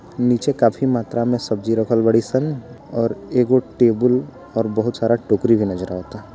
नीचे काफी मात्रा में सब्जी रखल वड़ी सन और एगो टेबुल और बहुत सारा टोकरी भी नजर आवाता।